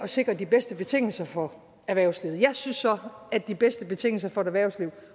sikre de bedste betingelser for erhvervslivet jeg synes så at de bedste betingelser for et erhvervsliv